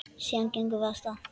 Síðan gengum við af stað.